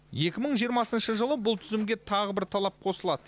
екі мың жиырмасыншы жылы бұл тізімге тағы бір талап қосылады